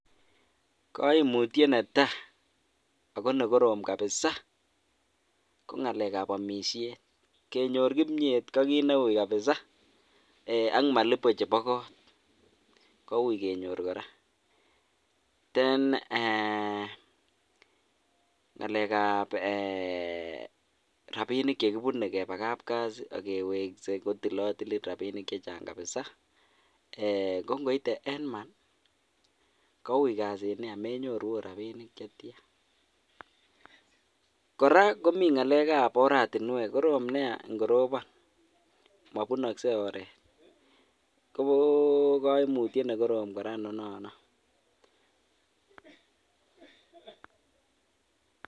Kaimutiet netai Ako nekorom kabisa ko ngalek ap omisiet kenyor kimyet ko kiy neuy kabisa ak malipo chepo kot kouy kenyor korangalek ap rapinik chekipunei keba kap kazi akeweksen kotilotilin rapinik chechang kabisa kongoite en month kouy kasit nia menyoru akot ropinik chetya. kora komi ngalek ap oratinwek korom nea ngoropon mopunoksei oret ko koimutiet nekorom kora noton